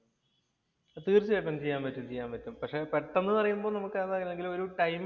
തീര്‍ച്ചയായിട്ടും ചെയ്യാന്‍ പറ്റും. ചെയ്യാന്‍ പറ്റും. പക്ഷെ പെട്ടന്ന് പറയുമ്പോ നമുക്ക് ഏതാണെങ്കിലും ഒരു ടൈം